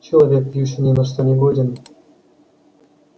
человек пьющий ни на что не годен